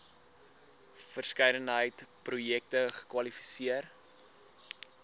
verskeidenheid projekte kwalifiseer